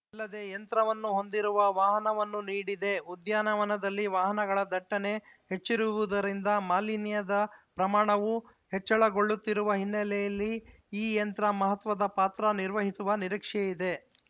ಅಲ್ಲದೆ ಯಂತ್ರವನ್ನು ಹೊಂದಿರುವ ವಾಹನವನ್ನೂ ನೀಡಿದೆ ಉದ್ಯಾನವನದಲ್ಲಿ ವಾಹನಗಳ ದಟ್ಟಣೆ ಹೆಚ್ಚಿರುವುದರಿಂದ ಮಾಲಿನ್ಯದ ಪ್ರಮಾಣವು ಹೆಚ್ಚಳಗೊಳ್ಳುತ್ತಿರುವ ಹಿನ್ನೆಲೆಯಲ್ಲಿ ಈ ಯಂತ್ರ ಮಹತ್ವದ ಪಾತ್ರ ನಿರ್ವಹಿಸುವ ನಿರೀಕ್ಷೆಯಿದೆ